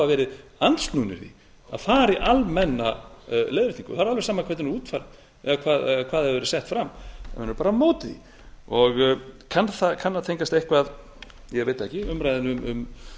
verið andsnúnir því að fara í almenna leiðréttingu það er alveg sama hvernig hún er útfærð eða hvað hefur verið ætti fram menn eru bara á móti því kann að tengjast eitthvað ég veit það ekki umræðunni um